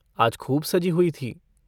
आज खूब सजी हुई थीं।